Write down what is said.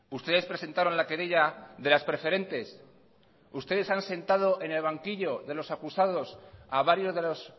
ustedes presentaron la querella de las preferentes ustedes han sentado en el banquillo de los acusados a varios de los